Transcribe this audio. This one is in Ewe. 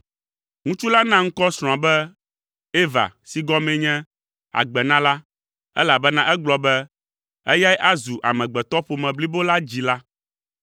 Ŋutsu la na ŋkɔ srɔ̃a be Eva si gɔmee nye “Agbenala,” elabena egblɔ be, “Eyae azu amegbetɔƒome blibo la dzila.”